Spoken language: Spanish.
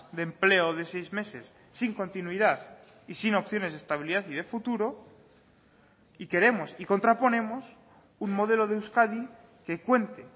de empleo de seis meses sin continuidad y sin opciones de estabilidad y de futuro y queremos y contraponemos un modelo de euskadi que cuente